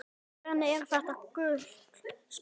Hvernig er þetta gult spjald?